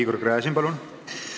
Igor Gräzin, palun!